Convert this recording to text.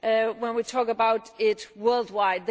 when we talk about it worldwide.